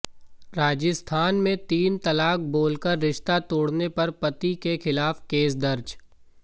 राजस्थान में तीन तलाक बोलकर रिश्ता तोड़ने पर पति के खिलाफ केस दर्ज